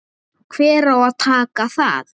Hver á að taka það?